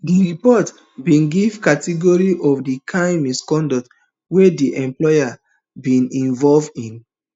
di report bin give categories of di kain misconduct wey di employees bin involve in